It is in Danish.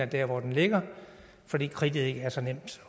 der hvor den ligger fordi kridtet ikke er så nemt